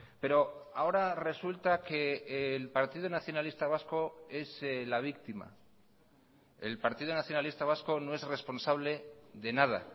pero ahora resulta que el partido nacionalista vasco es la víctima el partido nacionalista vasco no es responsable de nada